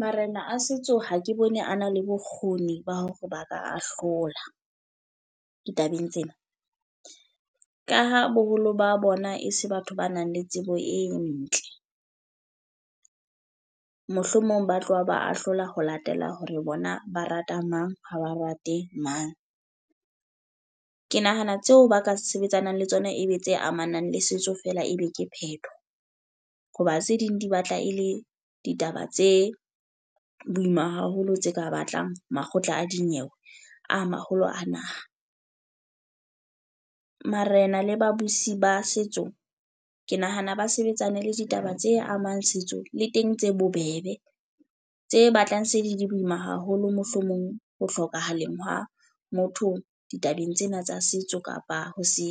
Marena a setso ha ke bone a na le bokgoni ba hore ba ka ahlola ditabeng tsena. Ka ha boholo ba bona e se batho ba nang le tsebo e ntle. Mohlomong ba tloha ba ahlola ho latela hore bona ba rata mang, ha ba rate mang. Ke nahana tseo ba ka sebetsanang le tsona e be tse amanang le setso fela e be ke phetho. Ho ba tse ding di batla e le ditaba tse boima haholo, tse ka batlang makgotleng a dinyewe a maholo a naha. Marena le babusi ba setso, ke nahana ba sebetsane le ditaba tse amang setso le teng tse bobebe. Tse batlang se di di boima haholo mohlomong ho hlokahaleng ha motho ditabeng tsena tsa setso kapa ha se